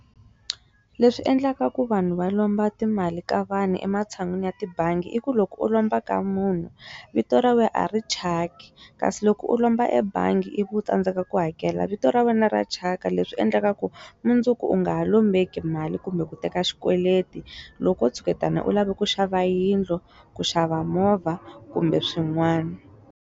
Leswi endlaka ku vanhu va lomba timali ka vanhu ematshan'wini ya tibangi i ku loko u lomba ka munhu vito ra wena a ri thyaki kasi loko u lomba ebangi i vi u tsandzeka ku hakela vito ra wena ra thyaka leswi endleka ku mundzuku u nga ha lombeki mali kumbe ku teka xikweleti loko tshuketana u lava ku xava yindlu ku xava movha kumbe swin'wana.